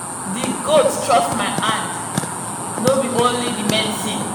the goat trust my hand no be only the medicine.